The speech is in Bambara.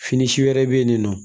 Fini si wɛrɛ bɛ yen nin nɔ